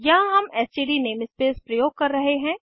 यहाँ हम STD namespace प्रयोग कर रहे हैं